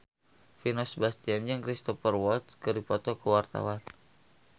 Vino Bastian jeung Cristhoper Waltz keur dipoto ku wartawan